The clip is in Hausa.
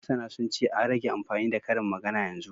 Masana sun ce, an rage amfani da karin magana yanzu